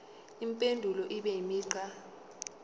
impendulo ibe imigqa